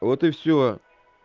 вот и всё